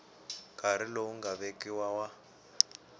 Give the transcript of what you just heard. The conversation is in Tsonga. nkarhi lowu nga vekiwa wa